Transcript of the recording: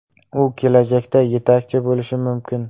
U kelajakda yetakchi bo‘lishi mumkin.